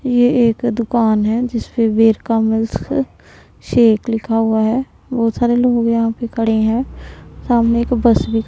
ये एक दुकान है जिस पे वीर का मिस्क शेक लिखा हुआ है। बहोत सारे लोग यहां पे खड़े हैं। सामने एक बस भी--